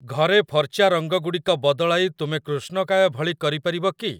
ଘରେ ଫର୍ଚ୍ଚା ରଙ୍ଗ ଗୁଡ଼ିକ ବଦଳାଇ ତୁମେ କୃଷ୍ଣକାୟ ଭଳି କରିପାରିବ କି?